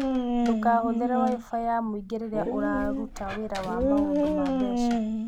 Ndũkahũthĩre Wi-Fi ya mũingĩ rĩrĩa ũraruta wĩra wa maũndũ ma mbeca.